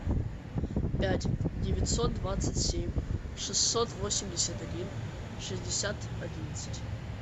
пять девятьсот двадцать семь шестьсот восемьдесят один шестьдесят одиннадцать